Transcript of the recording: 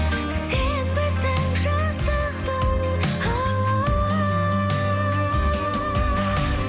сенбісің жастықтың алауы